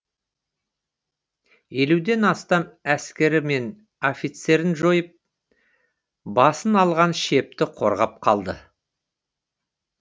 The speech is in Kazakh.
елуден астам әскері мен офицерін жойып басын алған шепті қорғап қалды